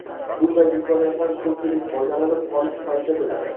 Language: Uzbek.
Bunday imkoniyatdan ko‘pchilik foydalanib qolish payida bo‘ladi.